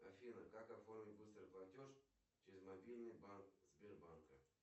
афина как оформить быстрый платеж через мобильный банк сбербанка